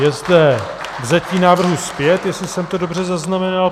Je zde vzetí návrhu zpět, jestli jsem to dobře zaznamenal.